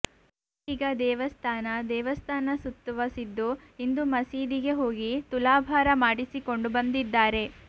ಇದೀಗ ದೇವಸ್ಥಾನ ದೇವಸ್ಥಾನ ಸುತ್ತುವ ಸಿದ್ದು ಇಂದು ಮಸೀದಿಗೆ ಹೋಗಿ ತುಲಾಭಾರ ಮಾಡಿಸಿಕೊಂಡು ಬಂದಿದ್ದಾರೆ